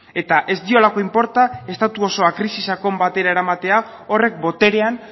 eta ez diolako inporta estatu osoa krisi sakon batera eramatea horrek boterean